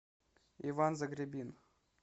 иван загребин